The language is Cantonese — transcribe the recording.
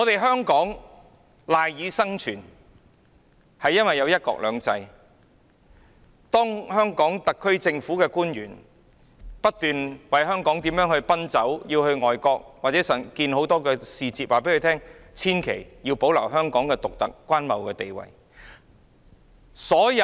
香港有"一國兩制"，特區政府官員不斷為香港奔走，到外國與很多使節會面，告訴他們必須保留香港的獨特關貿地位。